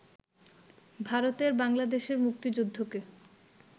ভারতের বাংলাদেশের মুক্তিযুদ্ধকে